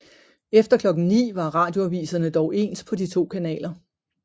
Efter klokken 9 var radioaviserne dog ens på de to kanaler